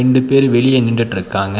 ரெண்டு பேர் வெளிய நின்னுட்டு இருக்காங்க.